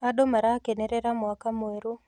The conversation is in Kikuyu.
Andũ marakenerera mwaka mwerũ